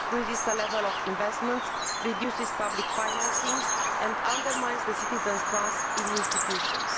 It decreases the level of investments, reduces public financing and undermines citizens' trust in institutions.